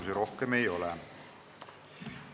Teile rohkem küsimusi ei ole.